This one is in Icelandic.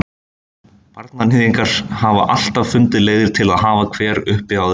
Barnaníðingar hafa alltaf fundið leiðir til að hafa hver uppi á öðrum.